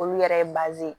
Olu yɛrɛ ye